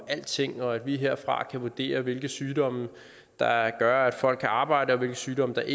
alting og at vi herfra kan vurdere hvilke sygdomme der gør at folk kan arbejde og hvilke sygdomme der